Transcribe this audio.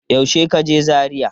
Yaushe ka je Zaria?